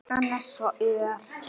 Hann er svo ör!